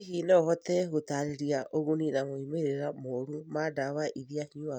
Hihi no ũhote gũtaarĩria ũguni na moimĩrĩro moru ma ndawa iria nyuaga?